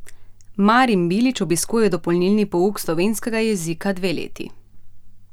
Marin Bilič obiskuje dopolnilni pouk slovenskega jezika dve leti.